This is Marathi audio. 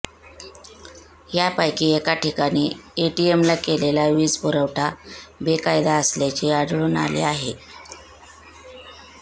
यापैकी एका ठिकाणी एटीएमला केलेला वीजपुरवठा बेकायदा असल्याचे आढळून आले आहे